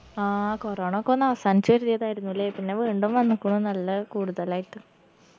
ആ corona ക്കൊന്ന് അവസാനിച്ചതിയതായിരുന്നാലേ പിന്ന വീണ്ടും വന്ന്ക്കുണു നല്ല കൂടുതലായിട്ട്